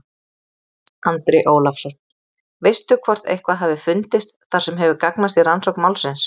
Andri Ólafsson: Veistu hvort eitthvað hafi fundist þar sem hefur gagnast í rannsókn málsins?